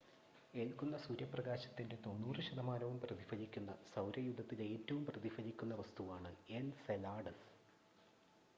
ഏൽക്കുന്ന സൂര്യപ്രകാശത്തിൻ്റെ 90 ശതമാനവും പ്രതിഫലിപ്പിക്കുന്ന സൗരയൂഥത്തിലെ ഏറ്റവും പ്രതിഫലിക്കുന്ന വസ്തുവാണ് എൻസെലാഡസ്